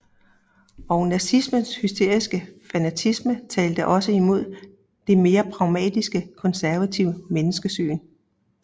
Og nazismens hysteriske fanatisme talte også imod det mere pragmatiske konservative menneskesyn